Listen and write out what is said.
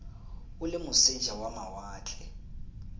o le moseja wa mawatle